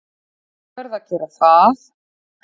Ég verð að gera það!